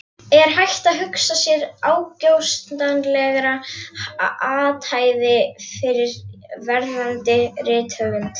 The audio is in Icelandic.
Er hægt að hugsa sér ákjósanlegra athæfi fyrir verðandi rithöfund?